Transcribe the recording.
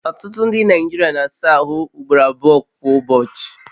Ọtụtụ ndị Naijiria na-asa ahụ ugboro abụọ kwa ụbọchị